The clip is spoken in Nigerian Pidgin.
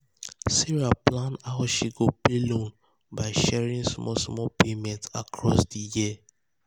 sarah plan um how she go pay loan by sharing um small small payment um across di year.